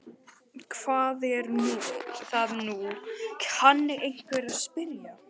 Hvað er það nú, kann einhver að spyrja.